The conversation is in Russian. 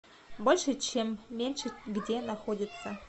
больше чем меньше где находится